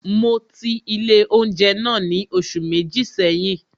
Mo ti ilé oúnjẹ náà ni oṣù méjì seyin